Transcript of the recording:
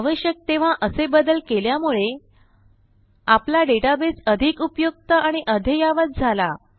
आवश्यक तेव्हा असे बदल केल्यामुळे आपला डेटाबेस अधिक उपयुक्त आणि अद्ययावत झाला